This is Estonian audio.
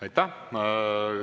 Aitäh!